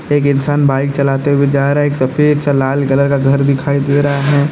एक इंसान बाइक चलाते हुए जा रहा है एक सफेद सा लाल कलर का घर दिखाई दे रहा है।